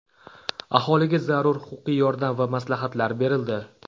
Aholiga zarur huquqiy yordam va maslahatlar berildi.